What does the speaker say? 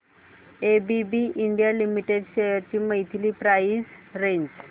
ABB India limited shares ची monthly price range